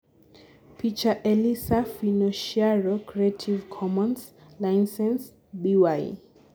picha © Elisa Finocchiaro Creative Commons - ?license -? BY